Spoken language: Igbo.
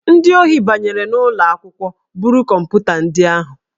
Ndị ohi banyere n'ụlọ akwụkwọ buru kọmputa ndị ahụ